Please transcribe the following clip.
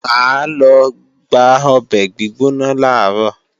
Mà á lọ gba ọbẹ̀ gbígbóná làárọ̀